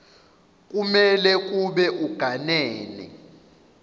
kumele kube uganene